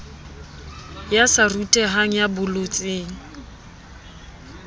ya sa rutehang ya bolotseng